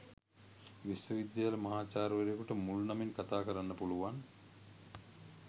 විශ්වවිද්‍යාල මහාචාර්යවරයකුට මුල් නමින් කථාකරන්න පුළුවන්